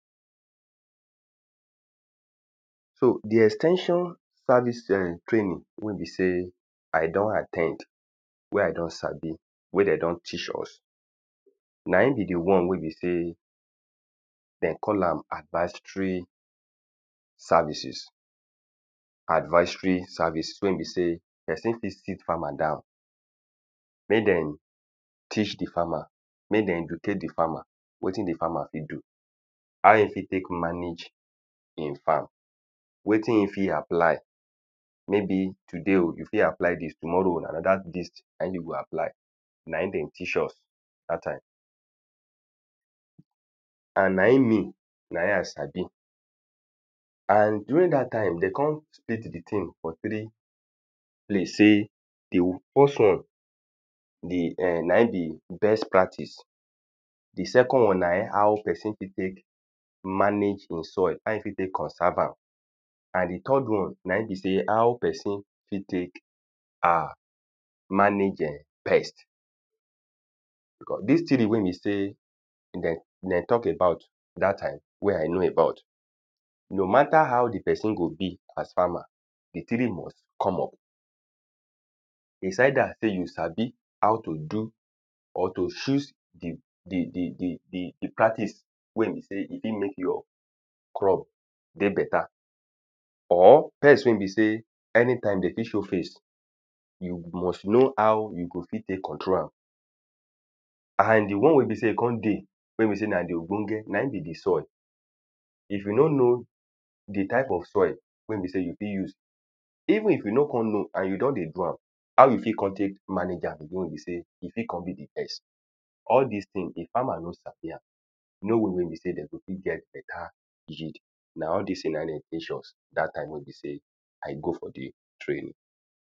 so di ex ten sion service eh training wey be sey i don at ten d we i don sabi we de don teach us na in be di won we be sey den call am advistory services advistory services wen e be sey pesin fit sit farmer down mey dem teach di farmer mey den educate di farmer wetin di farmer fit do how e fit tek manage e farm wetin e fit apply maybe today o you fit apply dist tomorrow na anoda dist na in you fit aply and nain me na in i sabi and during dat time dey kon split di tin for three place sey the first won[eh] na in be best pratice di second won na how pesin fit tek manage in soil how e fit tek conserve am how pesin fit tek ah manage eh pest because dis di wen be sey den talk about dat time wen i know about no mata how di pesin go be as farmer di three must come up beside dat tin you sabi how to do or to choose di de de practics wen be sey fit mek your crop dey beta or pest we be sey anytime dey fit show face you go must know how you go fit tek control am and di won we be sey kon dey wen be sey na di ogbonge nain be di soil if you no know di type of soil wen be sey u o fit use even if you no kon know and you don dey do am how you o kon tek manage am we be sey e fit kon be di best all dis tin di farmers no sabi am no way we be sey den go fit get beta yield na all dis tin na den teach us dat time we bie sey i go for di training